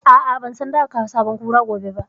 A'a, ban san za a kawo sabon Kura gobe ba